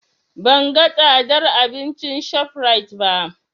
Ban ga tsadar abincin ShopRite ba.